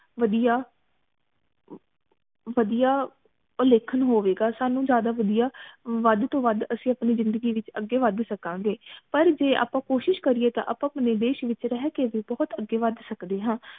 ਵਦੀਆਂ ਵਦੀਆਂ ਉਲੇਖਨ ਹੋਵੇਗਾ ਸਾਨੂ ਜ਼ਿਆਦਾ ਵਦੀਆਂ ਵੱਧ ਤੋਂ ਵੱਧ ਅਸੀਂ ਅਪਣੀ ਜਿੰਦਗੀ ਵਿਚ ਅਗੇ ਵੱਧ ਸਕਾਂਗੇ ਪਰ ਜੇ ਆਪਾ ਕੋਸ਼ਿਸ਼ ਕਰੀਏ ਤਾਂ ਆਪਾ ਅਪਣੇ ਦੇਸ਼ ਵਿਚ ਰਹ ਕੇ ਵੀ ਬਹੁਤ ਅਗੇ ਵੱਧ ਸਕਦੇ ਹਾਂ